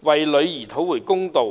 為其女兒討回公道。